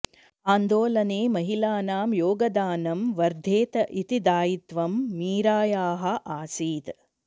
आन्दोलने महिलानां योगदानम् वर्धेत इति दायित्वं मीरायाः आसीत्